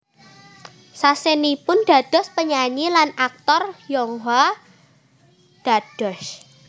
Sasenipun dados penyanyi lan aktor Yonghwa dados